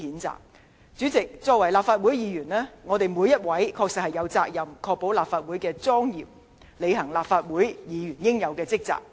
主席，身為立法會議員，我們在座各位確實有責任維護立法會的莊嚴，並履行立法會議員的職責。